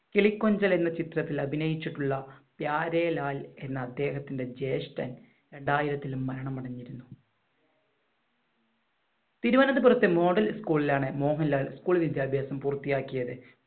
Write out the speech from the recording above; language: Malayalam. കിളികൊഞ്ചൽ എന്ന ചിത്രത്തിൽ അഭിനയിച്ചിട്ടുള്ള പ്യാരിലാൽ എന്ന അദ്ദേഹത്തിന്‍റെ ജേഷ്ഠൻ രണ്ടായിരത്തിൽ മരണമടഞ്ഞു. തിരുവനന്തപുരത്തെ modal school ലാണ് മോഹൻലാൽ school വിദ്യാഭ്യാസം പൂർത്തിയാക്കിയത്.